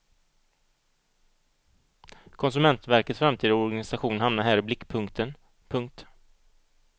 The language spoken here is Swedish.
Konsumentverkets framtida organisation hamnar här i blickpunkten. punkt